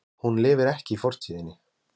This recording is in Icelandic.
Hún lifir ekki í fortíðinni.